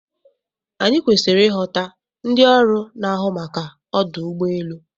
Anyị kwesịrị ịghọta ndị ọrụ na-ahụ maka ọdụ ụgbọ elu.